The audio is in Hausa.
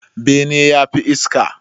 Bene yafi iska